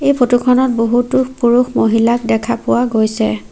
এই ফটোখনত বহুতো পুৰুষ মহিলাক দেখা পোৱা গৈছে।